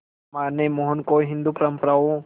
मां ने मोहन को हिंदू परंपराओं